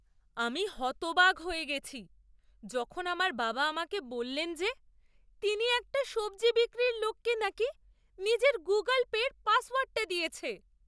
আমি হতবাক হয়ে গেছি যখন আমার বাবা আমাকে বললেন যে তিনি একটা সবজি বিক্রির লোককে নাকি নিজের গুগুল পের পাসওয়ার্ডটা দিয়েছে!